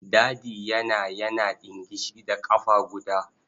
Dadi yana yana ɗingishi da ƙafa guda.